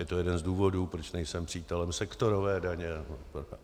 Je to jeden z důvodů, proč nejsem přítelem sektorové daně.